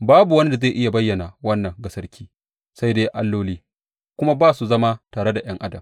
Babu wani da zai iya bayyana wannan ga sarki sai dai alloli; kuma ba su zama tare da ’yan adam.